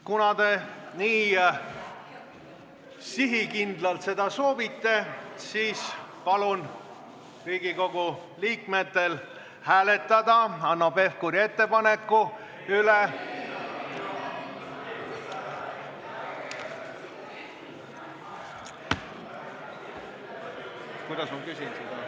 Kuna te nii sihikindlalt seda soovite, siis palun Riigikogu liikmetel hääletada Hanno Pevkuri ettepaneku üle.